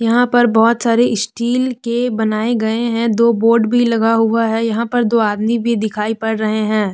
यहां पर बहोत सारी स्टील के बनाए गए हैं दो बोर्ड भी लगा हुआ है यहां पर दो आदमी भी दिखाई पड़ रहे हैं।